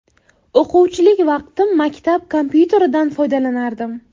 O‘quvchilik vaqtim maktab kompyuteridan foydalanardim.